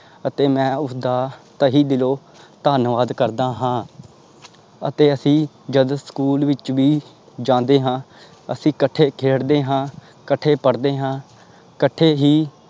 ਅਤੇ ਮੈਂ ਉਸਦਾ ਤਹੀ ਦਿਲੋਂ ਧੰਨਵਾਦ ਕਰਦਾ ਹਾਂ ਅਤੇ ਅਸੀਂ ਜਦ ਸਕੂਲ ਵਿੱਚ ਵੀ ਜਾਂਦੇ ਹਾਂ ਅਸੀਂ ਇਕੱਠੇ ਖੇੜਦੇ ਹਾਂ ਇਕੱਠੇ ਪੜ੍ਹਦੇ ਹਾਂ ਇਕੱਠੇ ਹੀ